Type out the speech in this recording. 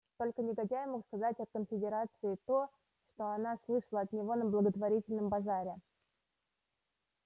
только негодяй мог сказать о конфедерации то что она слышала от него на благотворительном базаре